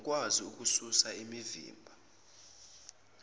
nokukwazi ukususa okuvimba